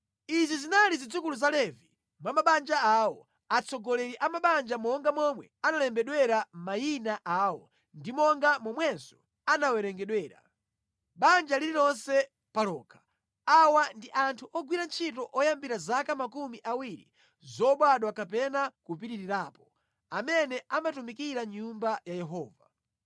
Izi zinali zidzukulu za Levi mwa mabanja awo, atsogoleri a mabanja monga momwe analembedwera mayina awo ndi monga momwenso anawerengedwera, banja lililonse pa lokha. Awa ndi anthu ogwira ntchito oyambira zaka makumi awiri zobadwa kapena kupitirirapo, amene amatumikira mʼNyumba ya Yehova.